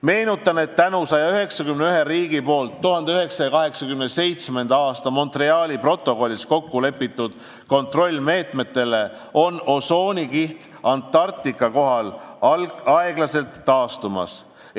Meenutan, et tänu 191 riigi poolt 1987. aasta Montreali protokollis kokku lepitud kontrollimeetmetele on osoonikiht Antarktika kohal aeglaselt taastumas.